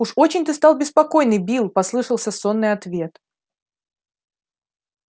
уж очень ты стал беспокойный билл послышался сонный ответ